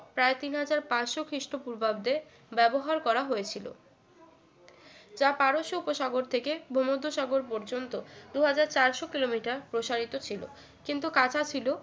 প্রায় তিন হাজার পাঁচশো খ্রীষ্টপূর্বাব্দে ব্যবহার করা হয়েছিল যা পারস্য উপসাগর থেকে ভূমধ্যসাগর পর্যন্ত দুই হাজার চারশো কিলোমিটার প্রসারিত ছিল কিন্তু কাঁচা ছিল